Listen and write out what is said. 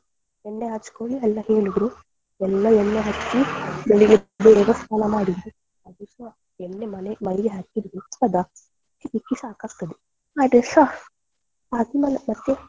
ಎಣ್ಣೆ ಹಚ್ಚ್ಕೊಳಿ ಎಲ್ಲ ಹೇಳಿದ್ರು ಎಲ್ಲ ಎಣ್ಣೆ ಹಚ್ಚಿ ಬೆಳ್ಳಿಗೆ ಬೇಗ ಸ್ನಾನ ಮಾಡಿದ್ವಿ. ಆ ದಿವ್ಸ ಎಣ್ಣೆ ಮನೆ ಮೈಗೆ ಹತ್ತಿದ್ದು ಬಿಡ್ತದ ತಿಕ್ಕಿ ತಿಕ್ಕಿ ಸಾಕಾಗ್ತದೇ ಆದ್ರೂಸ .